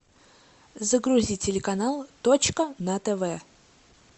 загрузи телеканал точка на тв